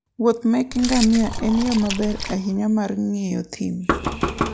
Wuoth meke ngamia en yo maber ahinya mar ng'iyo thim.